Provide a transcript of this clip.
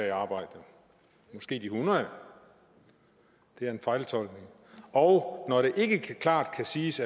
i arbejde men måske hundrede det er en fejltolkning og når indrømmer at det ikke klart kan siges